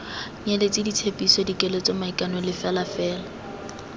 nyeletse ditshepiso dikeletso maikano lefelafela